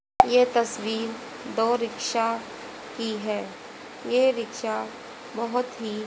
यह तस्वीर दो रिक्शा की है यह रिक्शा बहोत ही--